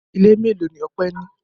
Ilé mélòó ni Ọpẹ́ ní?